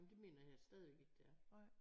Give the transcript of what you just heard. Nej men det mener jeg stadig ikke det er